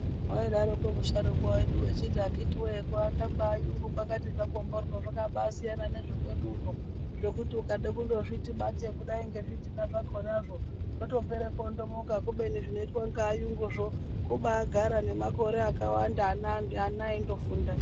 Waidaroko musharukwa wedu achiti akhitiwee kuaaka kwevayungu kwakambatimborwo zvakasiyana nezvekwedu uno zvekuti wakada kuzviti batei kudai nezvidhina zvakonazvo zvotopera kuondomoka kubeni zvinoita nevayunguzvo kubagara nemakore akawanda vana veindofunda.